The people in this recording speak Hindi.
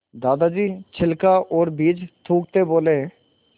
दादाजी छिलका और बीज थूकते बोले